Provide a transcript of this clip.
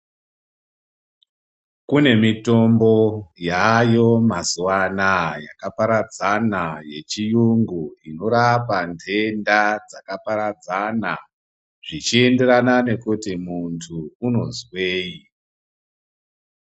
Kune mitombo yaayo mazuwa anaa yakaparadzana yechiyungu inorapa nhenda dzakaparadzana zvichienderana nekuti muntu unozwei.